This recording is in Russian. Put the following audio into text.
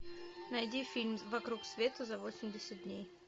найди фильм вокруг света за восемьдесят дней